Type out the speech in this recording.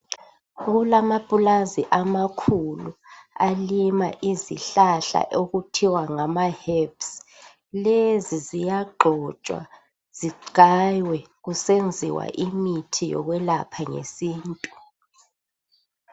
Kulamapulazi amakhulu alima izihlahla okuthiwa ngama herbs. Lezi ziyagxotshwa, zigaywe kusenziwa imithi yokwelapha ngesintu.